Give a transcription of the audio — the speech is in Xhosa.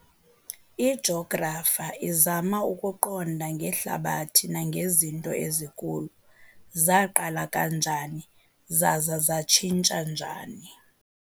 Ijografa izama ukuqonda ngeHlabathi nangezinto ezikulo, zaaqala kanjani zaza zatshintsha njani.